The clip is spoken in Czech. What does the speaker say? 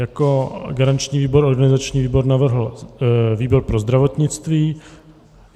Jako garanční výbor organizační výbor navrhl výbor pro zdravotnictví.